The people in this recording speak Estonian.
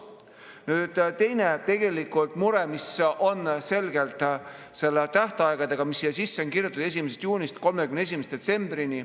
Nüüd teine mure, mis on selgelt tähtaegadega, mis siia sisse on kirjutatud: 1. juunist 31. detsembrini.